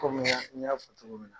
Kɔmi n y'a n y'a fɔ cogo min na.